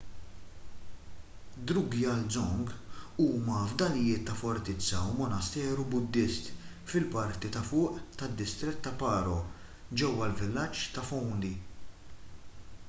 drukgyal dzong huma fdalijiet ta’ fortizza u monasteru buddist fil-parti ta’ fuq tad-distrett ta’ paro ġewwa l-villaġġ ta’ phondey